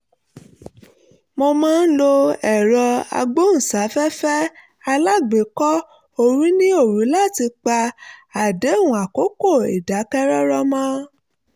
mo máa ń lo ẹ̀rọ agbóhùnsáfẹ́fẹ́ alágbèékọ́-orí ní òru láti pa àdéhùn àkókò ìdákẹ́rọ́rọ́ mọ́